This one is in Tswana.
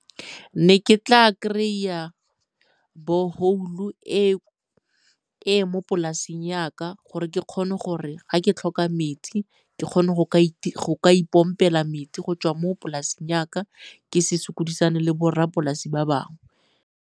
Ne ke tla kry-a borehole-u e e mo polaseng ya ka gore ke kgone gore ga ke tlhoka metsi ke kgone go ka ipompela metsi go tswa mo polasing ya ka ke se sokodisane le borra polase ba bangwe.